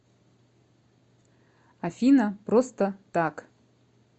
афина просто так